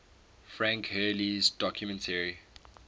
frank hurley's documentary